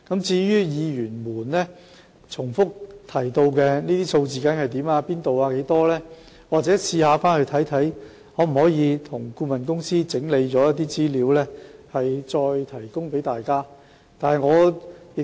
至於議員重複問及的資料，例如哪個品牌的配方粉在何處缺貨、缺貨量多少等，待我稍後請顧問公司整理一些資料，再向大家提供。